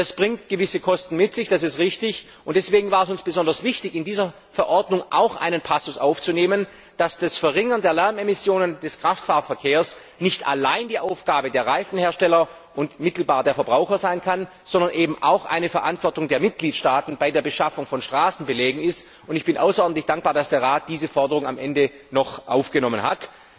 Das bringt gewisse Kosten mit sich, das ist richtig, und deswegen war es uns besonders wichtig, in diese Verordnung auch einen Passus aufzunehmen, wonach die Verringerung der Lärmemissionen des Kraftfahrverkehrs nicht allein die Aufgabe der Reifenhersteller und mittelbar der Verbraucher sein kann, sondern eben auch eine Verantwortung der Mitgliedstaaten bei der Beschaffung von Straßenbelägen ist, und ich bin außerordentlich dankbar, dass der Rat diese Forderung am Ende noch aufgenommen hat.